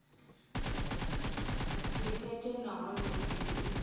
si thethe nahone dzi si